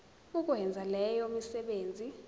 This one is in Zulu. ukwenza leyo misebenzi